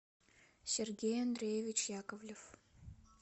сергей андреевич яковлев